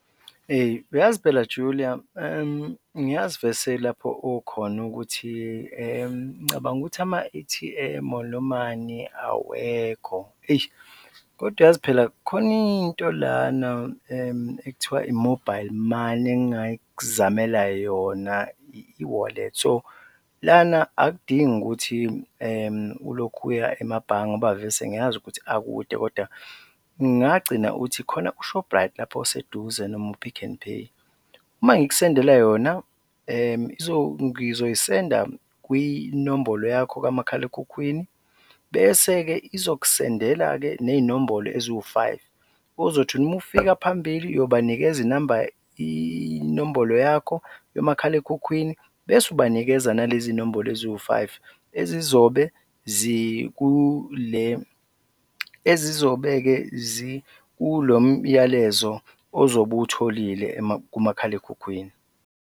Eyi, uyazi phela Julia ngiyazi vese lapho okhona ukuthi ngicabanga ukuthi ama-A_T_M or awekho eish, kodwa yazi phela khona into lana ekuthiwa i-mobile money engingakuzamela yona, i-e-wallet. So lana akudingi ukuthi ulokhu uya emabhange ngoba vese ngiyazi ukuthi akude kodwa ngagcina uthi khona u-Shoprite lapho oseduze noma u-Pick n Pay. Uma ngikusendela yona, ngizoyisenda kwinombolo yakho kamakhalekhukhwini bese-ke izokusendela-ke ney'nombolo eziwu-five ozothi uma ufika phambili, uyobanikeza inamba, inombolo yakho yomakhalekhukhwini bese ubanikeza nalezi zinombolo eziwu-five ezizobe zikule ezizobe-ke zikulo myalezo ozobe uwutholile kumakhalekhukhwini.